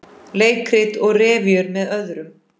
Leikrit og revíur með öðrum